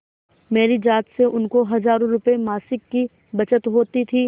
मेरी जात से उनको हजारों रुपयेमासिक की बचत होती थी